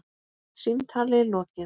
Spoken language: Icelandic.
Símtali lokið.